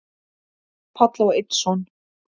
Páll á einn son.